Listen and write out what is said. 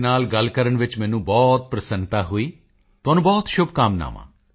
ਤੁਹਾਡੇ ਨਾਲ ਗੱਲ ਕਰਨ ਵਿੱਚ ਮੈਨੂੰ ਬਹੁਤ ਪ੍ਰਸੰਨਤਾ ਹੋਈ ਤੁਹਾਨੂੰ ਬਹੁਤ ਸ਼ੁਭਕਾਮਨਾਵਾਂ